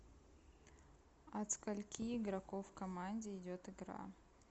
от скольки игроков в команде идет игра